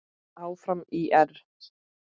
Áfram ÍR!